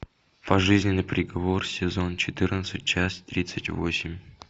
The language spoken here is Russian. пожизненный приговор сезон четырнадцать часть тридцать восемь